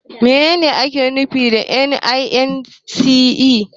Menene ake nufi da INEC?